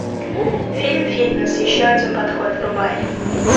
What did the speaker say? фильм фитнес еще один подход врубай